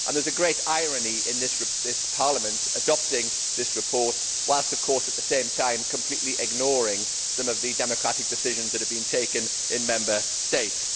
There is a great irony in this Parliament adopting this report whilst, at the same time, completely ignoring some of the democratic decisions that have been taken in Member States.